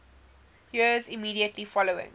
years immediately following